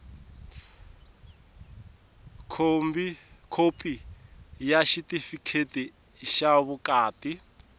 khopi ya xitifikheti xa vukati